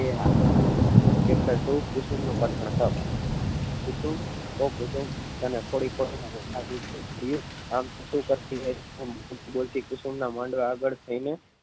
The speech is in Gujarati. એ હ chapter too કુસુમ નું કથન. કુસુમ ઓ કુસુમ તને થોડીક વાર કુસુમ ના માંડવા આગળ થઇ ને